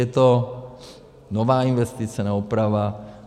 Je to nová investice, ne oprava.